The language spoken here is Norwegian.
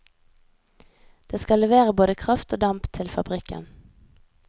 Det skal levere både kraft og damp til fabrikken.